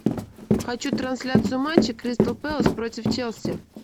хочу трансляцию матча кристал пэлэс против челси